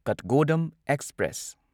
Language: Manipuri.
ꯀꯊꯒꯣꯗꯝ ꯑꯦꯛꯁꯄ꯭ꯔꯦꯁ